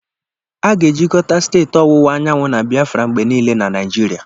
A ga-ejikọta Steeti Ọwụwa Anyanwụ na Biafra mgbe niile na Naijiria.